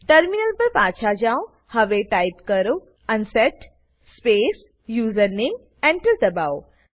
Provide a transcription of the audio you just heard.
terminal પર પાછા જાઓ હવે ટાઈપ કરો અનસેટ સ્પેસ યુઝરનેમ એન્ટર દબાઓ